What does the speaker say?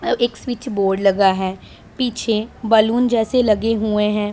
अ एक स्विचबोर्ड लगा है पीछे बैलून जैसे लगे हुए हैं।